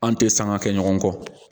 An tɛ sanga kɛ ɲɔgɔn kɔ